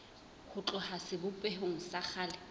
ho tloha sebopehong sa kgale